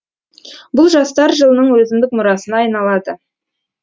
бұл жастар жылының өзіндік мұрасына айналады